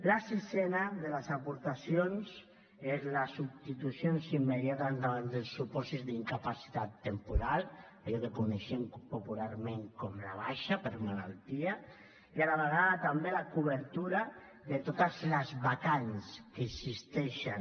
la sisena de les aportacions és les substitucions immediates davant del supòsit d’incapacitat temporal allò que reconeixem popularment com la baixa per malaltia i a la vegada també la cobertura de totes les vacants que existeixen